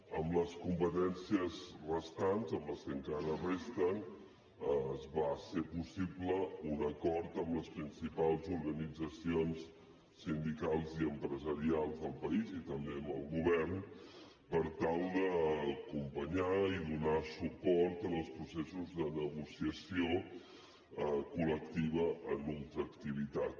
amb les competències restants amb les que encara resten es va fer possible un acord amb les principals organitzacions sindicals i empresarials del país i també amb el govern per tal d’acompanyar i donar suport en els processos de negociació col·lectiva en ultraactivitat